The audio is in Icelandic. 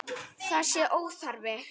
Það sé óþarfi.